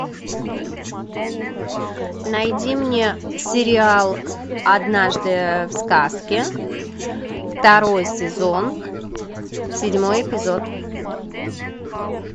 найди мне сериал однажды в сказке второй сезон седьмой эпизод